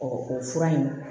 o fura in